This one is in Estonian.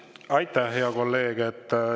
Aitäh, hea kolleeg!